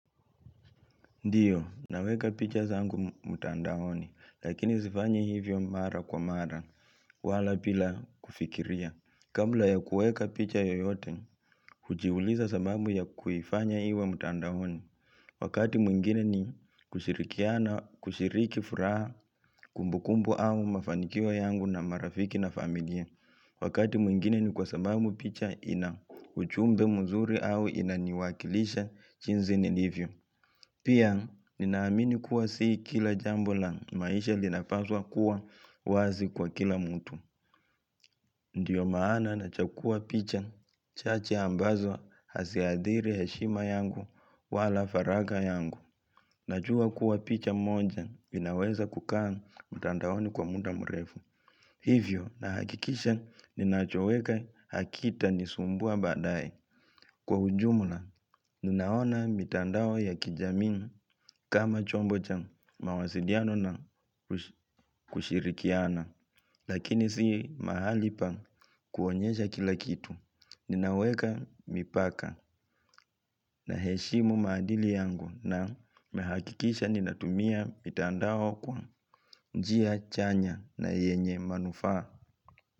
Ndiyo, naweka picha zangu mtandaoni, lakini zifanyi hivyo mara kwa mara, wala pila kufikiria. Kamla ya kueka picha yoyote, hujiuliza sababu ya kuifanya iwe mtandaoni. Wakati mwingine ni kushiriki furaha kumbukumbu au mafanikio yangu na marafiki na familia. Wakati mwingine ni kwa sababu picha ina uchumbe mzuri au inaniwakilisha chinzi nilivyo. Pia, ninaamini kuwa sii kila jambo la maisha linapaswa kuwa wazi kwa kila mtu. Ndiyo maana nachakua picha, chache ambazo hasiathiri heshima yangu wala faragha yangu. Najua kuwa picha mmoja, inaweza kukaa mtandaoni kwa muda mrefu. Hivyo, nahakikisha, ninachoweka hakitanisumbua baadaye Kwa ujuma ninaona mitandao ya kijamii kama chombo cha mawasiliano na kushirikiana Lakini si mahali pa kuonyesha kila kitu Ninaweka mipaka naheshimu maadili yangu na nahakikisha ninatumia mitandao kwa njia chanya na yenye manufaa.